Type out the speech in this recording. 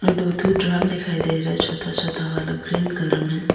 यहाँ दो ठो ड्रम दिखाई दे रहा है छोटा छोटा वाला ग्रीन कलर में।